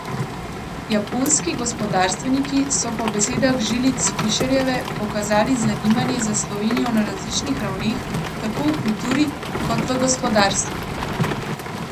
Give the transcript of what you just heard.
Japonski gospodarstveniki so po besedah Žilič Fišerjeve pokazali zanimanje za Slovenijo na različnih ravneh, tako v kulturi kot gospodarstvu.